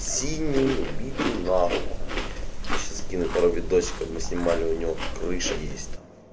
синий убитый но я сейчас скину пару видосиков мы снимали у него крыша есть там